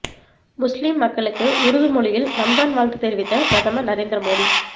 முஸ்லிம் மக்களுக்கு உருது மொழியில் ரம்ஜான் வாழ்த்து தெரிவித்த பிரதமர் நரேந்திர மோடி